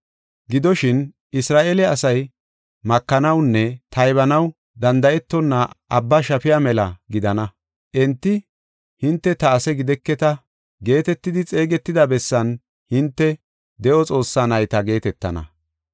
“Gidoshin, Isra7eele asay makanawunne taybanaw danda7etonna abba shafiya mela gidana. Enti, ‘Hinte ta ase gideketa’ geetetidi xeegetida bessan hinte ‘De7o Xoossaa nayta’ geetetana.